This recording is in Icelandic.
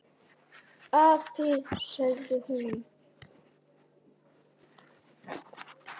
Afi, sagði hún.